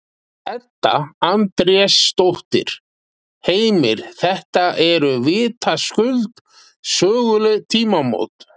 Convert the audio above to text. Edda Andrésdóttir: Heimir, þetta eru vitaskuld söguleg tímamót?